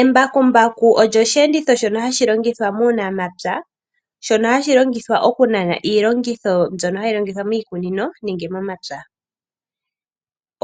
Embakumbaku olyo oshiyenditho shono hashi longithwa muunamapya shono hashi longithwa okunana iilongitho mbyono hayi longithwa moshikunino nenge momapya.